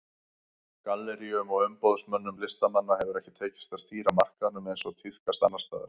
Galleríum og umboðsmönnum listamanna hefur ekki tekist að stýra markaðnum eins og tíðkast annars staðar.